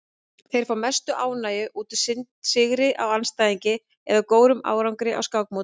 Þeir fá mesta ánægju út úr sigri á andstæðingi eða góðum árangri á skákmóti.